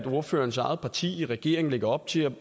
ordførerens eget parti i regeringen lægger op til